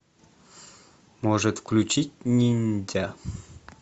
может включить ниндзя